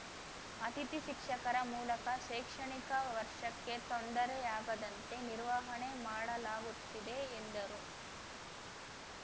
ಅಥಿತಿ ಶಿಕ್ಷಕರ ಮೂಲಕ ಶೈಕ್ಷಣಿಕ ವರ್ಷಕ್ಕೆ ತೊಂದರೆಯಾಗದಂತೆ ನಿರ್ವಹಣೆ ಮಾಡಲಾಗುತ್ತಿದೆ ಎಂದರು